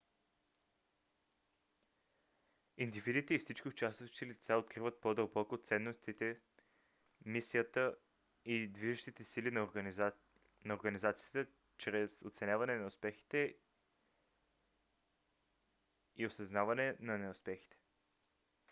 индивидите и всички участващи лица откриват по - дълбоко ценностите мисията и движещите сили на организацията чрез оценяване на успехите и осъзнаване на неуспехите